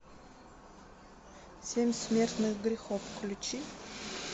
семь смертных грехов включи